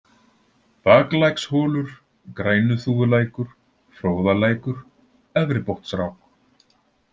Baklæksholur, Grænuþúfulækur, Fróðalækur, Efribotnsrák